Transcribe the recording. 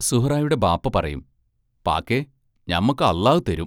സുഹ്റായുടെ ബാപ്പ പറയും: പാക്കെ ഞമ്മക്ക് അല്ലാഹ് തരും.